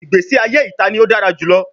Igbesi aye ita ni o dara julọ